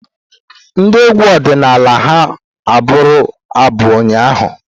Ndị egwu ọdịnala ha abụru abu ụnyaahụ?